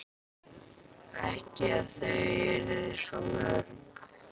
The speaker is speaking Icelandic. Ekki að þau yrðu svo mörg.